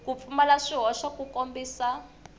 ku pfumala swihoxo ku kombisa